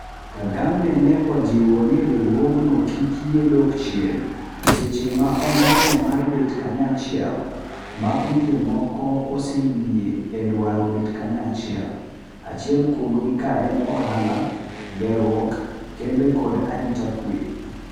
kagame ne ojiwo ni riwruogno kik yie dok chien seche ma ondamo mar bet kanyachiel. ma pinje moko oseyie e dwaro bet kanyachiel, acheil kuomgi kaen ohala, gerwuok, kembe koda arita kwe